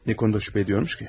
Nə barədə şübhə edirmiş ki?